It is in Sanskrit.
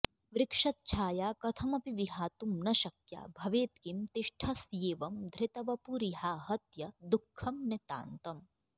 वृक्षच्छाया कथमपि विहातुं न शक्या भवेत् किं तिष्ठस्येवं धृतवपुरिहाहत्य दुःखं नितान्तम्